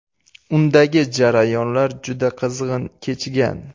Undagi jarayonlar juda qizg‘in kechgan.